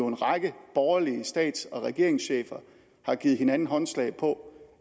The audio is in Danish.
en række borgerlige stats og regeringschefer har givet hinanden håndslag på